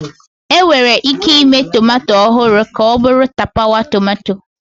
Enwere ike ịme tomato ọhụrụ ka ọ bụrụ tapawa tomato